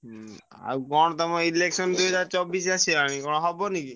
ହୁଁ ଆଉ କଣ ତମ election ଦୁଇହଜାର ଚବିଶ ଆସିଗଲାଣି କଣ ହବନି କି?